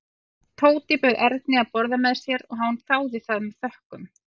Tóti bauð Erni að borða með sér og hann þáði það með þökkum.